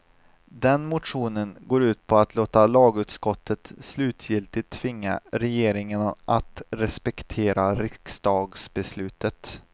Den motionen går ut på att låta lagutskottet slutgiltigt tvinga regeringen att respektera riksdagsbeslutet.